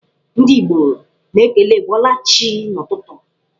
Ndị Igbo na-ekele 'ị bọọla chi' n'ụtụtụ.